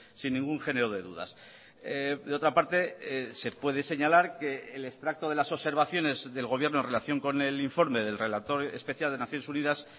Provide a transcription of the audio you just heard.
sin ningún género de dudas de otra parte se puede señalar que el extracto de las observaciones del gobierno en relación con el informe del relator especial de naciones unidas